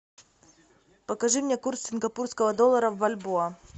покажи мне курс сингапурского доллара в бальбоа